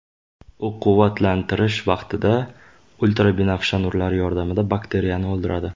U quvvatlantirish vaqtida ultrabinafsha nurlari yordamida bakteriyalarni o‘ldiradi.